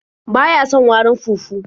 Ba ya son warin fufu.